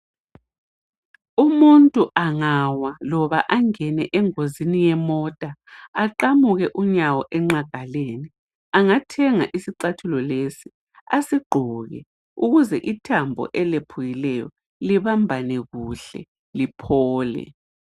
Umuntu angawa loba angene engozini yemota aqamuke unyawo engqagaleni angathenga isicathulo lesi asigqoke ukuze ithambo elephukileyo libambane kuhle liphole.